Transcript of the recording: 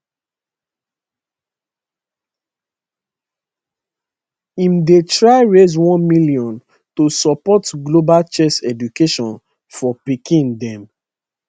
im dey try raise 1 million to support global chess education for pikin dem